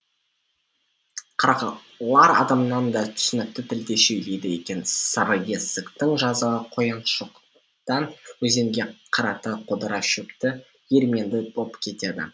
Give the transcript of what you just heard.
қарғалар адамнан да түсінікті тілде сөйлейді екен сарыесіктің жазығы қояншоқыдан өзенге қарата қодыра шөпті ерменді боп кетеді